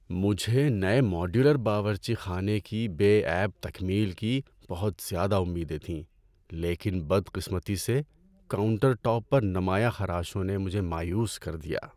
‏مجھے نئے ماڈیولر باورچی خانے کی بے عیب تکمیل کی بہت زیادہ امیدیں تھیں لیکن بدقسمتی سے, کاؤنٹر ٹاپ پر نمایاں خراشوں نے مجھے مایوس کر دیا‏۔